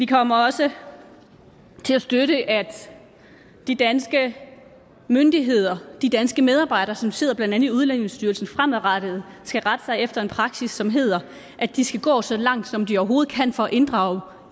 kommer også til at støtte at de danske myndigheder andet de danske medarbejdere som sidder i udlændingestyrelsen fremadrettet skal rette sig efter en praksis som hedder at de skal gå så langt som de overhovedet kan for at inddrage